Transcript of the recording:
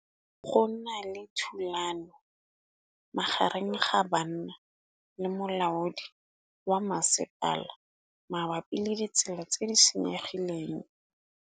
Go na le thulanô magareng ga banna le molaodi wa masepala mabapi le ditsela tse di senyegileng.